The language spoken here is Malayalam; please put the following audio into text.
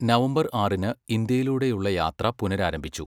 നവംബർ ആറിന് ഇന്ത്യയിലൂടെയുള്ള യാത്ര പുനരാരംഭിച്ചു.